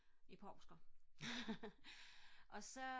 i påsken og så